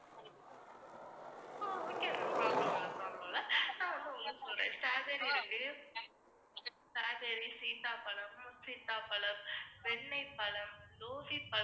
ஆஹ் okay ma'am, problem இல்லை problem இல்லை, ஆஹ் நான் வந்து உங்களுக்கு சொல்றேன். strawberry இருக்கு, strawberry சீத்தாப்பழம், முற்சீத்தாப்பழம், வெண்ணெய்ப் பழம், பழம்